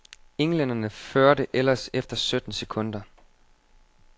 Englænderne førte ellers efter sytten sekunder.